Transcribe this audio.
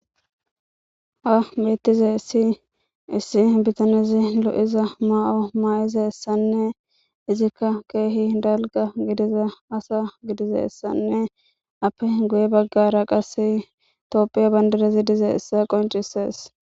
ha beettizayissi issi bitanezi lo'iza maa'o maa'izassanne izikka keehi dalga gidiza asa gidizaassanne appe guye baggara qase tophiya bandarazi diziyissa qoncisees